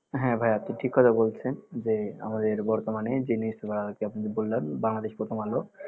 হ্যা ভাইয়া আপনি ঠিক কথা বলেছেন যে আমাদের বর্তমানে যে news paper আর কি আপনি যে বললেন বাংলাদেশ প্রথম আলো